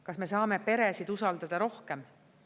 Kas me saame peresid usaldada rohkem?